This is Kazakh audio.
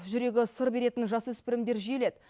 жүрегі сыр беретін жасөспірімдер жиіледі